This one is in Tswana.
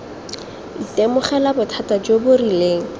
itemogela bothata jo bo rileng